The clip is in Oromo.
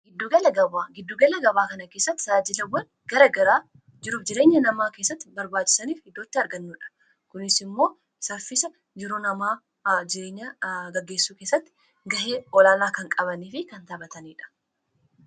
Giddugala gabaa kana keessatti tajaajilawwan garaagaraa jiruuf jireenya namaa keessatti barbaachisoo ta'an dhiyeenyatti arganna. Kunis immoo, sochii jireenya namaa geggeessuu keessatti gahee olaalaa kan qabanii fi kan taphataniidha.